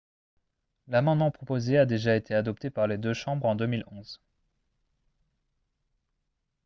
l'amendement proposé a déjà été adopté par les deux chambres en 2011